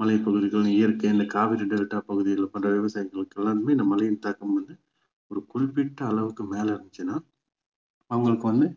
மழைப்பகுதிகள் இயற்கை இந்த காவிரி டெல்டா பகுதிகளில பண்ற விவசாயிகளுக்கு எல்லாருக்குமே இந்த மழையின் தாக்கம் வந்து ஒரு குறிப்பிட்ட அளவுக்கு மேல இருந்துச்சுன்னா அவங்களுக்கு வந்து